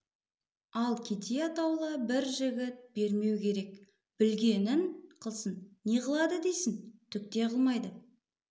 ал кедей атаулы бір жігіт бермеу керек білгенін қылсын не қылады дейсің түк те қылмайды